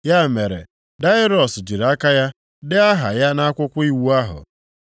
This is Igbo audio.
Ya mere, Daraiọs jiri aka ya dee aha ya nʼakwụkwọ iwu ahụ.